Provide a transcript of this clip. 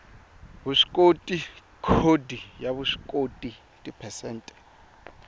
vuswikoti khodi ya vuswikoti tiphesente